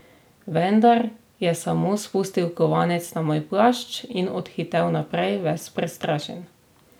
Vendar je samo spustil kovanec na moj plašč in odhitel naprej, ves prestrašen.